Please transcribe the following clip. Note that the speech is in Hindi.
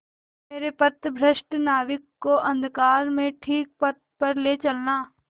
मेरे पथभ्रष्ट नाविक को अंधकार में ठीक पथ पर ले चलना